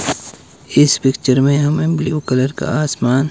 इस पिक्चर में हमें ब्ल्यू कलर का आसमान--